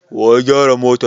Wa ya gyara motar?